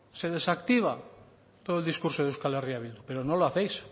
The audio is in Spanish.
se desactiva todo el discurso de euskal herria bildu pero no lo hacéis